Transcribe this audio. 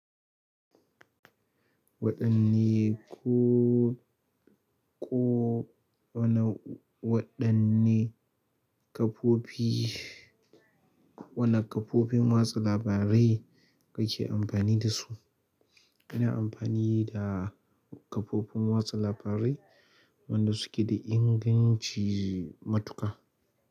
Waɗanne ko ko wane waɗanne kafofi, wane kafofin watsa labarai kake amfani da su? Kana amfani da kafofin watsa labarai wanda suke da inganci matuƙa.